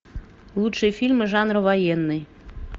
лучшие фильмы жанра военный